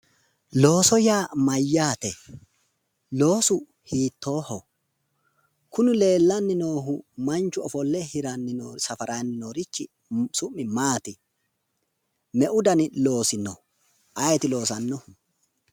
Looso yaa mayyaate loosu hiittoho kuni leellanni noohu manchu ofolle safaranni leellanni noorichi su'mi Maati meu dani dani loosi no ayeeti loosannoha?